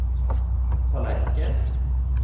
tallerken